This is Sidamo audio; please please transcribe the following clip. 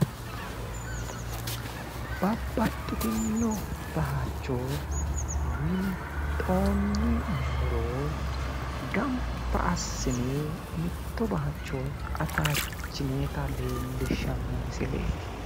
Babbaxxitinno bayicho winxoonni muro gamba assine mitto bayicho ataachinoyita leellishshanno misileeti.